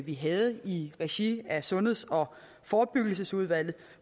vi havde i regi af sundheds og forebyggelsesudvalget